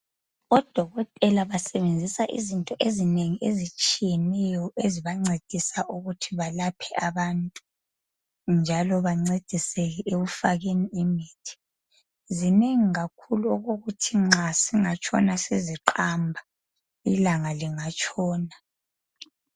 odokotela basebenzisa izinto ezinengi ezitshiyeneyo ezibancedisa ukuthi balaphe abantu njalo bancediseke ekufakeni imithi zinengi kakhulu okokuthi nxa singatshona siziqamba ilanga lingatshona